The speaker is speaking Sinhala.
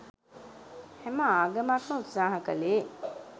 හැම ආගමක්ම උත්සාහ කලේ